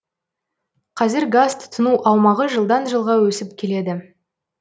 қазір газ тұтыну аумағы жылдан жылға өсіп келеді